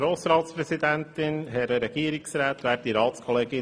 Kommissionspräsident der FiKo.